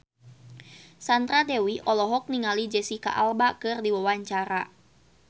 Sandra Dewi olohok ningali Jesicca Alba keur diwawancara